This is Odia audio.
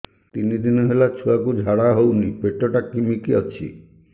ତିନି ଦିନ ହେଲା ଛୁଆକୁ ଝାଡ଼ା ହଉନି ପେଟ ଟା କିମି କି ଅଛି